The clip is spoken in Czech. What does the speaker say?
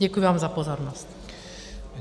Děkuju vám za pozornost.